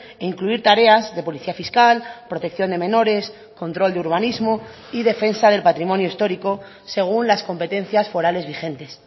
e incluir tareas de policía fiscal protección de menores control de urbanismo y defensa del patrimonio histórico según las competencias forales vigentes